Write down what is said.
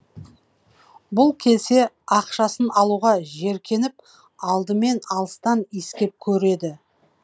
бұл келсе ақшасын алуға жеркеніп алдымен алыстан иіскеп көреді